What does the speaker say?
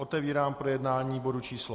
Otevírám projednání bodu číslo